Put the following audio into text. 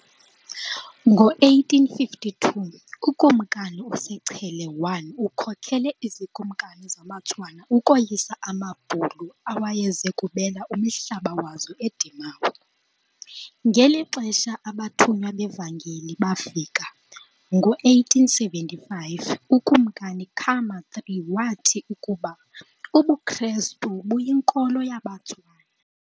Ngo-1852 uKumkani uSechele I ukhokele izikumkani zamaTswana ukoyisa amaBhulu awayeze kubela umhlaba wazo eDimawe. Ngeli xesha abathunywa bevangeli bafika- ngo-1875 uKumkani Khama III wathi ukuba ubuKrestu buyinkolo yabeTswana.